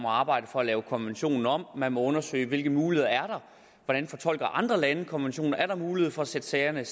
arbejde for at lave konventionen om man måtte undersøge hvilke muligheder er der hvordan fortolker andre lande konventionen er der mulighed for at sætte sagerne